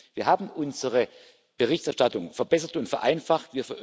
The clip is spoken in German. Wir haben unsere Berichterstattung verbessert und vereinfacht.